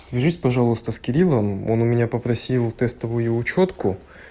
свяжись пожалуйста с кириллом он у меня попросил тестовую учётку